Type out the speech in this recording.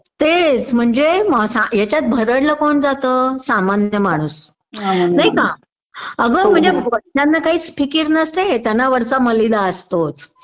तेच म्हणजे यांच्यात भरडल कोण जातं सामान्य माणूस नाही का अगं म्हणजे वरच्याना काहीच फिकीर नसते त्यांना वरचा मलिदा असतोच